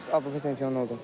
Avropa çempionu oldum.